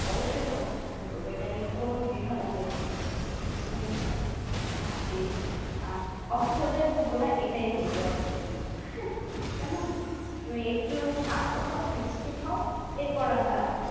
অবশ্যই তোমাকে সাহায্য করবো। এটা নিয়ে কোনো দ্বিধা দ্বন্ধের কিছু নেই। তুমি তুমি আর যে, আহ অস্থিরতায় ভুগোনা এটাই বলবো আর কি। কেমন? তুমি একটু শান্ত হও ঠিক হও এরপর আমরা